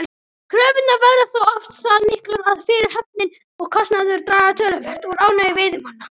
Kröfurnar verða þó oft það miklar að fyrirhöfnin og kostnaðurinn draga töluvert úr ánægju veiðimanna.